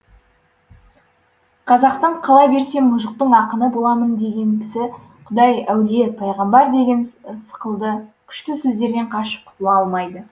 қазақтың қала берсе мұжықтың ақыны боламын деген кісі құдай әулие пайғамбар деген сықылды күшті сөздерден қашып құтыла алмайды